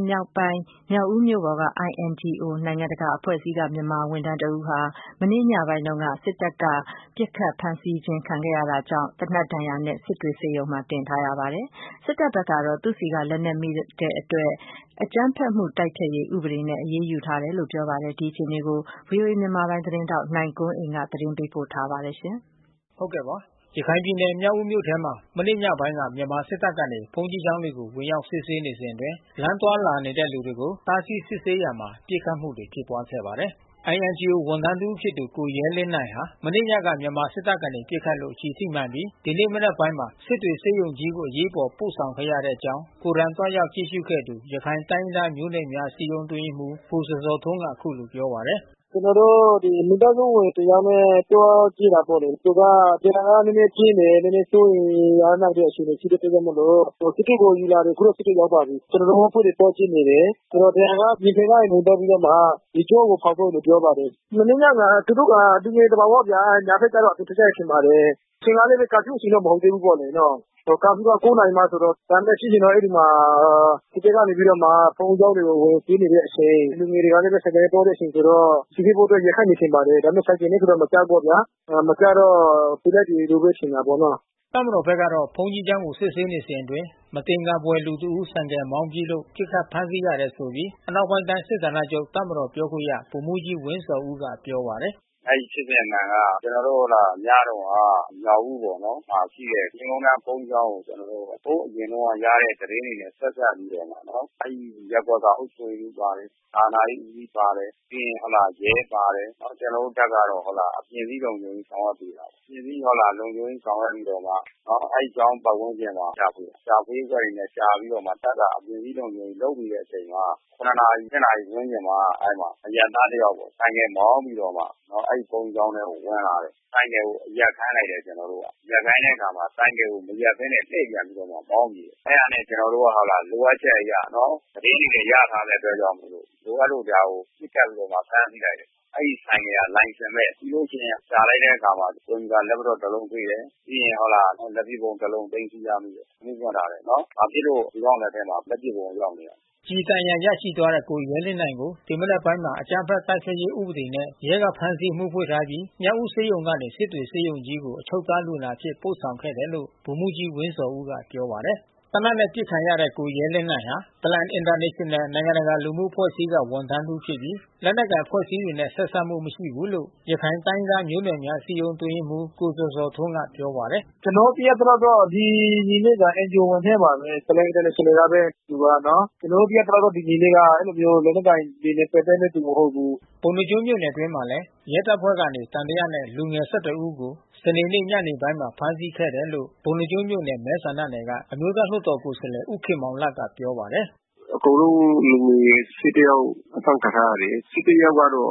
်မြောက်ပိုင်း မြောက်ဦးမြို့ပေါ်က INGO နိုင်ငံတကာအဖွဲ့အစည်းက မြန်မာဝန်ထမ်းတဦးဟာ မနေ့ညပိုင်းတုန်းက မြန်မာစစ်တပ်က ပစ်ခတ်ဖမ်းဆီးခြင်းခံခဲ့ရတာကြောင့်၊ အခုသေနတ်ဒဏ်ရာနဲ့ စစ်တွေဆေးရုံတင် ထားရပါ တယ်။ မြန်မာစစ်တပ်ဖက်ကတော့ သူ့ဆီကလက်နက်မိတာကြောင့် အကြမ်းဖက်မှုတိုက်ဖျက်ရေးဥပဒေနဲ့ အရေးယူ ထားတယ်လို့ ပြောပါတယ်။ ဒီအခြေအနေကို ဗွီအိုအေမြန်မာပိုင်းသတင်းထောက် နိုင်ကွန်းအိန်ကနေ သတင်းပေး ပို့ထားပါတယ်။ ရခိုင်ပြည်နယ်မြောက်ဦးမြို့ထဲမှာ မနေ့ညပိုင်းက မြန်မာစစ်တပ်ကနေ ဘုန်းကြီးကျောင်းတွေကို ဝင်ရောက်စစ်ဆေး စဉ်အတွင်း လမ်းသွားလာတဲ့သူတွေကိုတားဆီးစစ်ဆေးရာမှာ ပစ်ခတ်မှု တွေဖြစ်ပွားခဲ့တာပါ။ INGO ဝန်ထမ်းတစ်ဦးဖြစ်သူ ကိုရဲလင်းနိုင်ဟာ မနေ့ညက မြန်မာစစ်တပ်ကနေပစ်ခတ်လို့ ကျည်ထိမှန်ပြီး ဒီနေ့မနက် ပိုင်းမှာ စစ်တွေဆေးရုံကြီးကို အရေးပေါ်ပို့ဆောင်ခဲ့တဲ့အကြောင်း ကိုယ်တိုင်သွားရောက်ကြည့်ရှုခဲ့သူ ရခိုင် တိုင်းရင်း သား မျိုးနွယ်များအစည်းအရုံး အတွင်းရေးမှူး ကိုဇော်ဇော်ထွန်းက အခုလိုပြောပါတယ်။ “ကျွန်တော်တို့မိသားစုဝင်တယောက်နဲ့ပြောကြည့်တယ်ပေါ့လေ။ သူကဒဏ်ရာကနည်းနည်း ပြင်းတယ်။ နည်းနည်း စိုးရိမ်နေရတဲ့အခြေ အနေဖြစ်တဲ့အတွက်ကြောင့်မို့လို့ စစ်တွေကိုယူလာတယ်။ အခုတော့စစ်တွေကိုရောက်ပါပြီး။ ကျွန်တော်တို့အဖွဲ့တွေ သွားကြည့်နေတယ်။ ဆိုတော့ဒဏ်ရာက ရင်ဘတ်ကဝင်သွားပြီးတော့မှ ကြောကိုဖေါက်သွားတယ်လို့ပြောပါတယ်။ မနေ့ညက သူတို့က လူငယ်သဘာဝဗျာ ညပိုင်းကျတော့အပြင်ထွက်ကြတယ်ထင်ပါတယ်။ အချိန်ကလဲ ကာဖျူး အချိန် မဟုတ်ဘူးလေနော။ ကာဖျူးက နာရီမှဆိုတော့။ ဒါပေမဲ့ဖြစ်ချင်တော့အဲဒီမှာ သူတို့ ကနေပြီးတော့ ဘုန်းကြီး ကျောင်းကိုဝင်စီးနေတဲ့အချိန် လူငယ်တွေကလဲ ဆိုင်ကယ်နဲ့ သွားတဲ့အချိန်ဆိုတော့ စီစစ်ဖို့အတွက်ရပ်ခိုင်းတယ် ထင်ပါ တယ်။ ဒါပေမဲ့ ဆိုင်ကယ်နဲ့ ဆိုမကြားဘူးပေါ့ဗျာ။ မကြားတော့သေနတ်တွေလို့ဘဲထင်တာပေါ့နော်။ ” တပ်မတော်ဖက်ကတော့ ဘုန်းကြီးကျောင်းကိုစစ်ဆေးနေစဉ်အတွင်း မသင်္ကာဖွယ် လူတဦးဆိုင်ကယ် မောင်းပြေးလို့ ပစ်ခတ်ဖမ်းဆီးရတယ်ဆိုပြီး အနောက်ပိုင်းတိုင်းစစ်ဌာနချုပ်တပ်မတော်ပြောခွင့်ရ ဗိုလ်မှူးကြီးဝင်းဇော်ဦးက ပြောပါ တယ်။ “အဲဒီဖြစ်စဉ်အမှန်က ကျွန်တော်တို့ညတုန်းက မြောက်ဦးပေါ်ရှိတဲ့ မြင်းခုန်တန်းဘုန်းကြီးကျောင်းကို ဟိုအရင်တုန်းက ရတဲ့ သတင်းတွေဆက်စပ်ပြီးတော့မှ အဲဒီရပ်ကွက်ကအုပ်ချုပ်ရေးမှူးပါတယ်။ သာသနာရေး ဦးစီးပါတယ်။ ပြီးရင် ရဲပါ တယ်။ ကျွန်တော်တို့တပ်ကတော့ အပြင်စည်းဘောင် ဝင်ဆောင်ရွက်ပေးထားတယ်။ အပြင်စည်း ဟုတ်လား လုံခြုံရေး ဆောင်ရွက်ပြီးတော့မှ အဲဒီကျောင်းပတ်ဝန်းကျင်မှာ ရှာဖွေတယ်။ ရှာဖွေရေးအဖွဲ့တွေနဲ့ ရှာပြီးတော့ တပ်ကနေ အပြင် စည်းလုံခြုံရေး လုပ်နေတဲ့အချိန်မှာ နာရီ - နာရီဝန်းကျင်မှာ အရပ်သားတယောက်ပေါ့ ဆိုင်ကယ်မောင်းပြီးတော့မှ အဲဒီဘုန်းကြီးကျောင်းထဲကိုဝင်လာတယ်။ ဆိုင်ကယ်ကို ရပ်ခိုင်းလိုက်တယ်။ ကျွန်တော်တို့က ရပ်ခိုင်းတဲ့အခါမှာ ဆိုင်ကယ် ကိုမရပ်ဘဲနဲ့ လှည့်ပြန်ပြီးတော့မှ မောင်းပြေးတယ်။ အဲတာနဲ့ ကျွန်တော်တို့က လိုအပ်ချက်အရ သတင်းတွေလဲ ရထားတဲ့ အတွက်ကြောင့်မို့လို့ လိုအပ်လို့ ဒါကိုပစ်ခတ်ပြီးတော့မှ ဖမ်းဆီးလိုက်တယ်။ အဲဒီဆိုင်ကယ်ဟာ လိုင်စင်မဲ့ ပြီးလို့ရှိရင် ရှာလိုက်တဲ့အခါမှာ ကွန်ပျူတာ လက်ပ်တော့တလုံးတွေ့တယ်။ ပြီးရင် ဟုတ်လား လက်ပစ်ဗုံးတလုံး သိမ်းဆည်းရရှိတယ်။ အမှုဖွင့်ထားတယ်နော်။ ဘာဖြစ်လို့ ဒီကောင် လက်ထဲလက်ပစ်ဗုံး ရောက်နေရတာလဲ။” ကျည်ဒဏ်ရာရသွားတဲ့ ကိုရဲလင်းနိုင်ကို ဒီနေ့မနက်ပိုင်းမှာ အကြမ်းဖက်မှု တိုက်ဖျက်ရေးဥပဒေနဲ့ ရဲကဖမ်းဆီး အမှုဖွင့် ထားပြီး မြောက်ဦးဆေးရုံကနေ စစ်တွေဆေးရုံကြီးကို အချုပ်သား လူနာအဖြစ်ပို့ဆောင်ခဲ့တယ်လို့ ဗိုလ်မှူးကြီး ဝင်းဇော်ဦးက ပြောပါတယ်။ သေနတ်နဲ့ပစ်ခံရတဲ့ ကိုရဲလင်းနိုင်ဟာ Plan International နိုင်ငံတကာလူမှုအဖွဲ့အစည်းက ဝန်ထမ်းတစ်ဦးဖြစ်ပြီး လက်နက်အဖွဲ့တွေနဲ့ ဆက်စပ်မှု မရှိဘူးလို့ ရခိုင်တိုင်းရင်းသားမျိုးနွယ်များ အစည်းအရုံးအတွင်းရေးမှူး ကိုဇော်ဇော်ထွန်း ကပြောပါတယ်။ “ကျွန်တော်တို့သိရသလောက်ကတော့ ဒီညီလေးက NGO ဝန်ထမ်းပါဘဲ။ Plan International ကဘဲ သူကနော်။ ကျွန်တော်တို့သိရသလောက်က ဒီညီလေးဟာ အဲဒီလိုမျိုး လက်နက်ကိုင်တွေနဲ့ ပက်သက်တဲ့သူ မဟုတ်ဘူး။” ပုဏ္ဏားကျွန်းမြို့နယ်အတွင်းမှာလဲ ရဲတပ်ဖွဲ့ကနေ သံသယနဲ့လူငယ် ဦးကို စနေနေ့ညနေပိုင်းမှာ ဖမ်းဆီးခဲ့တယ် လို့ ပုဏ္ဏားကျွန်းမြို့နယ် မဲဆန္ဒနယ်က အမျိုးသားလွှတ်တော်ကိုယ်စားလှယ် ဦးခင်မောင်လတ်က ပြောပါတယ်။ “အကုန်လုံး လူငယ် ယောက် အဖမ်းခံထားရတယ်။ ယောက်ကတော့